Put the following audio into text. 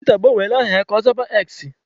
Tiwita agbanwela aha ya ka ọ zaba X.